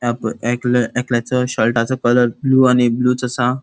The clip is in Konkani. अब एकले एकल्याचो शर्टाचो कलर ब्लू आणि ब्लुच असा.